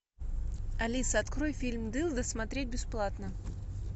алиса открой фильм дылды смотреть бесплатно